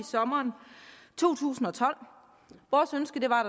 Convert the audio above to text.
sommeren to tusind og tolv vores ønske var